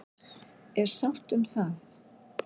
Er sátt um það?